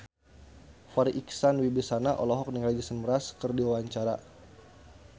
Farri Icksan Wibisana olohok ningali Jason Mraz keur diwawancara